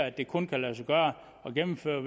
at det kun kan lade sig gøre at gennemføre